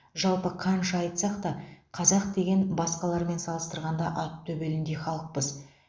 жалпы қанша айтсақ та қазақ деген басқалармен салыстырғанда ат төбеліндей халықпыз